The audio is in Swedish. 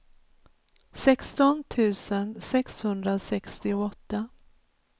sexton tusen sexhundrasextioåtta